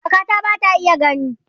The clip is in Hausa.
Kakata ba ta iya gani.